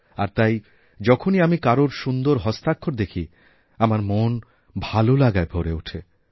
আর তাই যখনই আমি কারোর সুন্দর হস্তাক্ষর দেখি আমার মন ভালোলাগায় ভরে ওঠে